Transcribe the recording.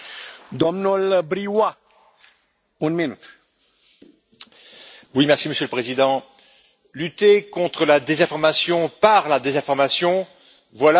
Monsieur le Président, lutter contre la désinformation par la désinformation, voilà un beau sujet de philosophie qui résume un peu l'état de l'Union européenne.